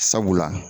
Sabula